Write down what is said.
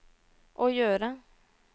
å gjøre